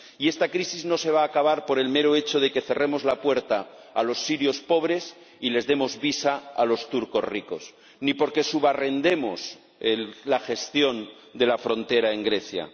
Y esta crisis no se va a acabar por el mero hecho de que cerremos la puerta a los sirios pobres y les demos visados a los turcos ricos, ni porque subarrendemos la gestión de la frontera en Grecia.